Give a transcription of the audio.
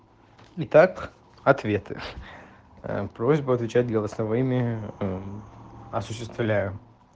итак ответы просьба отвечать голосовыми осуществляем